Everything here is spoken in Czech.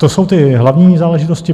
To jsou ty hlavní záležitosti.